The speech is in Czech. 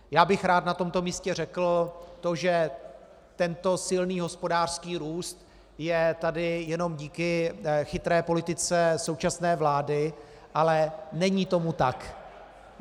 Já bych rád na tomto místě řekl to, že tento silný hospodářský růst je tady jenom díky chytré politice současné vlády, ale není tomu tak.